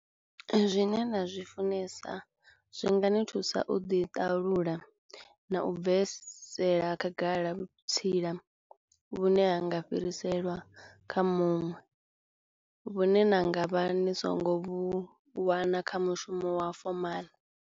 Zwine nda zwi funesa zwi nga ni thusa u ḓi ṱalula na u bvesela khagala vhutsila vhune ha nga fhiriselwa kha muṅwe, vhune na nga vha ni songo vhu wana kha mushumo wa fomaḽa.